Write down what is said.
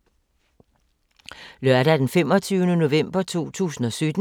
Lørdag d. 25. november 2017